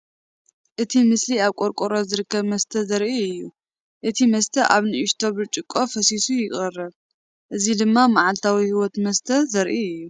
እቲ ምስሊ ኣብ ቆርቆሮ ዝርከብ መስተ ዘርኢ እዩ። እቲ መስተ ኣብ ንእሽቶ ብርጭቆ ፈሲሱ ይቐርብ። እዚ ድማ መዓልታዊ ህይወት መስተ ዘርኢ አዩ።